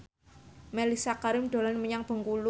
Mellisa Karim dolan menyang Bengkulu